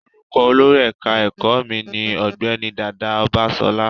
Orúkọ olórí ẹ̀ka ẹ̀kọ́ mi ní Ọ̀gbẹ́ni Dàda Ọbańsọlá